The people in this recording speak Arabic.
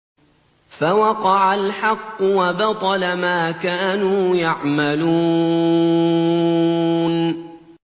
فَوَقَعَ الْحَقُّ وَبَطَلَ مَا كَانُوا يَعْمَلُونَ